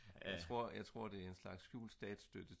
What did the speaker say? jeg tror det er en slags skjult statsstøtte